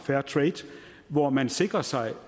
fairtrade hvor man sikrer sig